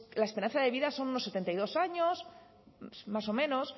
la esperanza de vida son unos setenta y dos años más o menos